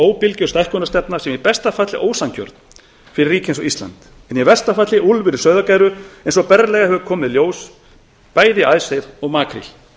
óbilgjörn stækkunarstefna sem í besta falli er ósanngjörn fyrir ríki eins og ísland en í versta falli úlfur í sauðargæru eins og berlega hefur komið í ljós bæði í icesave og makríl